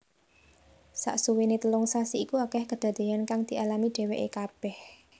Saksuwéné telung sasi iku akèh kedadéyan kang dialami dhèwèké kabèh